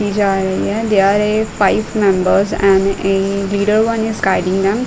जा रही है। They are a five members and a leader one is guiding them.